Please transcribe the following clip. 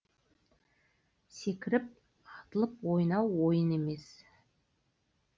секіріп атылып ойнау ойын емес